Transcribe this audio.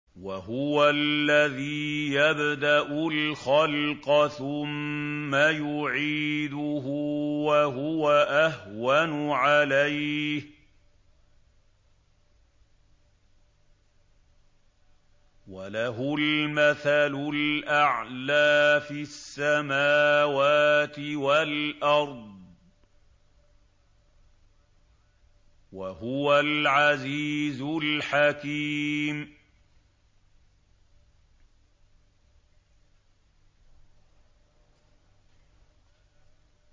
وَهُوَ الَّذِي يَبْدَأُ الْخَلْقَ ثُمَّ يُعِيدُهُ وَهُوَ أَهْوَنُ عَلَيْهِ ۚ وَلَهُ الْمَثَلُ الْأَعْلَىٰ فِي السَّمَاوَاتِ وَالْأَرْضِ ۚ وَهُوَ الْعَزِيزُ الْحَكِيمُ